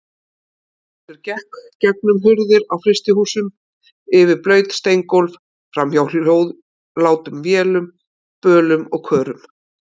Ragnhildur gekk gegnum hurðir á frystihúsum, yfir blaut steingólf, framhjá hljóðlátum vélum, bölum og körum.